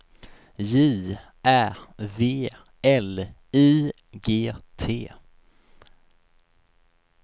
J Ä V L I G T